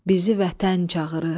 Bizi vətən çağırır.